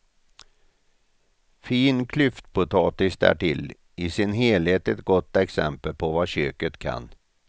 Fin klyftpotatis därtill, i sin helhet ett gott exempel på vad köket kan.